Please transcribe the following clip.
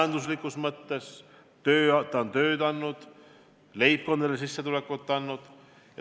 See on tööd andnud, leibkondadele sissetulekut andnud.